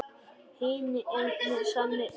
Hinn eini sanni Skarpi!